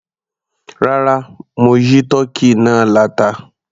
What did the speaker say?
Rárá, mo yí tọ́kì náà láta.